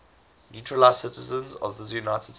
naturalized citizens of the united states